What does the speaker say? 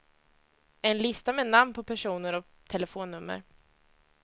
En lista med namn på personer och telefonnummer.